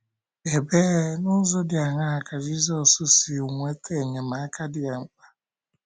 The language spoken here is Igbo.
Ebee, n’ụzọ dị aṅaa ka Jizọs si nweta enyemaka dị ya mkpa?